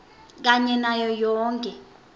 kanye nayo yonkhe